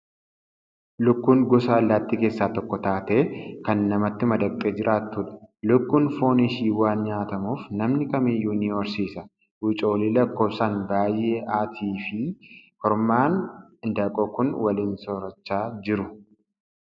Lukkuun gosa allaattii keessaa tokko taatee kan namatti madaqxee jiraattudha. Lukkuun foon ishii waan nyaatamuuf namni kam iyyuu ni horsiisa. Wucoolii lakkoofsaan baay'ee, haatii fi kormaan handaaqqoo kun waliin soorachaa jiru.